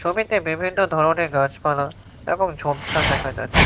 ছবিতে বিভিন্ন ধরনের গাছপালা এবং ঝোপঝাড় দেখা যাচ্ছে।